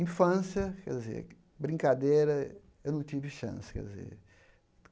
Infância, brincadeira, eu não tive chance quer dizer.